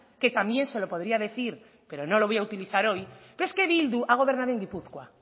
que también se lo podría decir pero no lo voy a utilizar hoy pero es que bildu ha gobernado en gipuzkoa